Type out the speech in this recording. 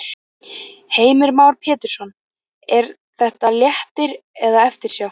Heimir Már Pétursson: Er þetta léttir eða eftirsjá?